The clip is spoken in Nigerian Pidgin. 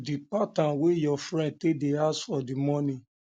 the pattern wey your friend take dey ask for di money